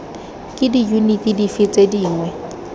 ke diyuniti dife tse dingwe